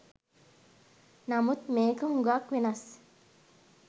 නමුත් මේක හුගක් වෙනස්